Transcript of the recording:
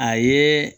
A ye